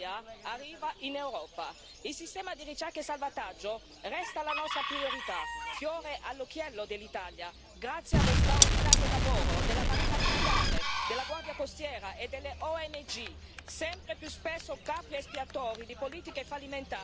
Il sistema di ricerca e salvataggio resta la nostra priorità, fiore all'occhiello dell'Italia grazie allo straordinario lavoro della Marina Militare, della Guardia Costiera e delle ONG, sempre più spesso capri espiatori di politiche fallimentari europee e nazionali.